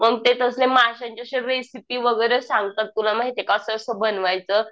मग ते तसले माश्यांचे वगैरे सांगतात तुला माहिती का? असं असं बनवायचं.